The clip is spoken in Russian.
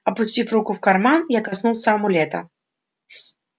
опустив руку в карман я коснулся амулета